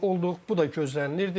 Bu da gözlənilirdi.